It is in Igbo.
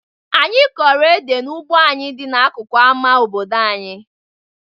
Anyị kọrọ ede n'ugbo anyị dị n'akụkụ ama obodo anyị.